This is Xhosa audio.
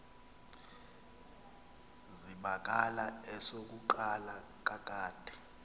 zibakala esokuqala kakade